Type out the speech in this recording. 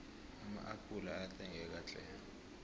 ama appula ayathengeka tlhe